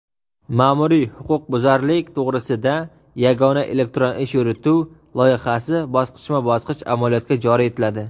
"Maʼmuriy huquqbuzarlik to‘g‘risida yagona elektron ish yurituv" loyihasi bosqichma-bosqich amaliyotga joriy etiladi.